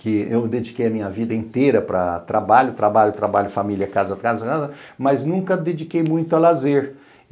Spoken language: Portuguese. que eu dediquei a minha vida inteira para trabalho, trabalho, trabalho, família, casa, casa, mas nunca dediquei muito a lazer.